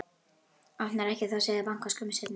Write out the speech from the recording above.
Opnar ekki þó að það sé bankað skömmu seinna.